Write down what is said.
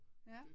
Ja